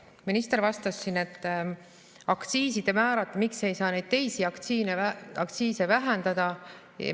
Minister vastas siin aktsiisimäärade kohta, miks ei saa neid teisi aktsiise vähendada.